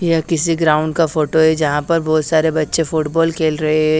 यह किसी ग्राउंड का फोटो है जहां पर बहोत सारे बच्चे फुटबॉल खेल रहे है।